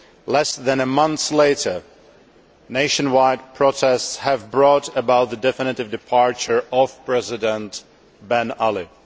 Less than a month later, nationwide protests have brought about the definitive departure of President Ben Ali.